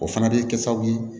O fana bɛ kɛ sababu ye